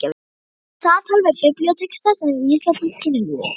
SAMTAL VIÐ BIBLÍUTEXTA SEM VÍSA TIL KYNLÍFS